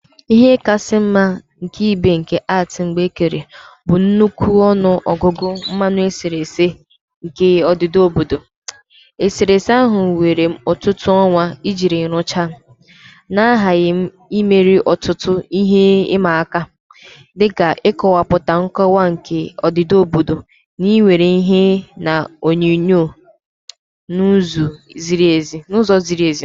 Ihe kasị ịma aka ibe nke art m mgbe kere bụ nnukwu ọnụ ọgụgụ mmanụ eserese nke a odida obodo. Eserese ahụ were m ọtụtụ ọnwa iji rụchaa, na aghaghị m imeri ọtụtụ ihe ịma aka, dị ka ịkọwapụta nkọwa nke odida obodo na iwere ìhè na onyinyo n'ụzọ ziri ezi.